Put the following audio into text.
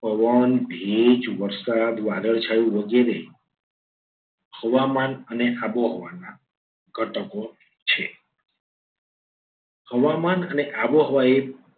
પવન ભેજ વરસાદ વાદળછાયું વગેરે હવામાન અને આબોહવાના ઘટકો છે. હવામાન અને આબોહવા એ